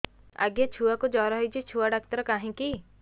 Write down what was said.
ଆଜ୍ଞା ଛୁଆକୁ ଜର ହେଇଚି ଛୁଆ ଡାକ୍ତର କାହିଁ କି